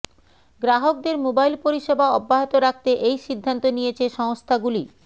গ্রাহকদের মোবাইল পরিষেবা অব্যাহত রাখতে এই সিদ্ধান্ত নিয়েছে সংস্থাগুলি